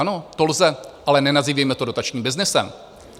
Ano, to lze, ale nenazývejme to dotačním byznysem.